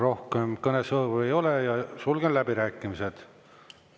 Rohkem kõnesoove ei ole, sulgen läbirääkimised.